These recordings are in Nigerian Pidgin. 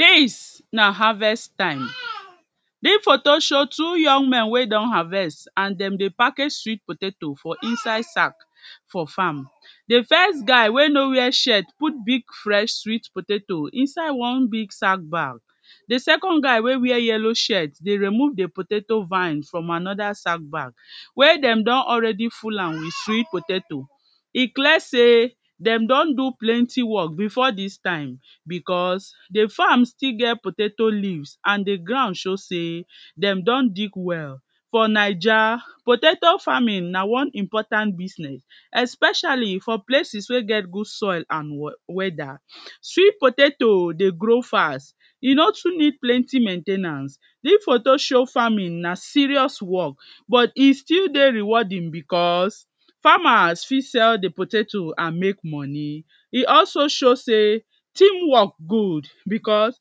dis na harvest taim dis foto show two young men wey don harvest and dem dey package sweet potato for inside sack for farm di fest guy wey no wia shirt put big fresh sweet potato insisde one big sack bag di second guy wey wia yelo shirt dey remove di potato vine from anoda sack bag wey dem don already fill am with sweet potato e clear sey dem don do plenty work bifo dis taim bicos di farm still get potato leaves and di ground show sey dem don dig well for naija potato farming na one important business especially for places wey get good soil and weda sweet potato dey grow fast e no too need plenty maintainance dis foto show farming na serious work but e still dey rewarding bicos farmers fit sell di potatoes and mek moni e also show sey team work good bicos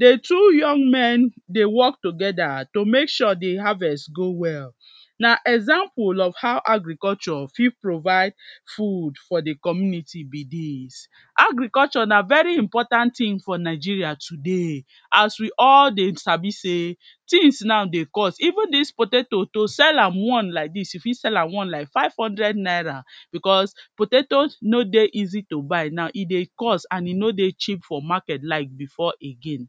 di two young men dey work together to mek sure di harvest go well na example of how agriculture fit provide fud for di community be dis agriculture na veri important ting for nigeria today as we all dey sabi sey tings now dey cost even dis potatoes to sell am one laik dis you fit sell am one laik five hundred naira bicos potatoes no dey easy to buy now e dey cost and e no dey cheap for market laik bifo again